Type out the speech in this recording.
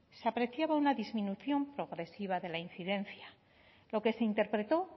se apreciaba una disminución progresiva de la incidencia lo que se interpretó